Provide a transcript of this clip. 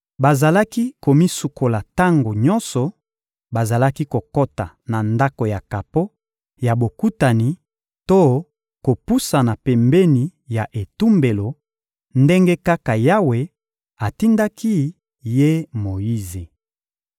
Bazalaki komisukola tango nyonso bazalaki kokota na Ndako ya kapo ya Bokutani to kopusana pembeni ya etumbelo, ndenge kaka Yawe atindaki ye Moyize.